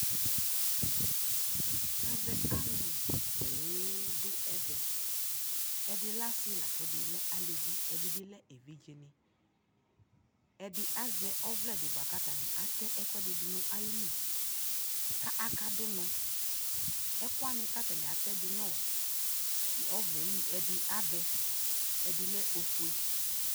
ɛvɛ alʋ pɔɔm dʋ ɛvɛ, ɛdi lɛ asii lakʋ ɛdi lɛ alʋvi ɛdi bi lɛ ɛvidzɛ, ɛdi azɛ ɔvlɛ di bʋakʋ atani atɛ ɛkʋɛdi dʋnʋ ayili kʋ aka dʋ ɔnɔ, ɛkʋɛ kʋatani atɛ dʋnʋ ɔvlɛli ɛdi avɛ ɛdi lɛ ɔƒʋɛ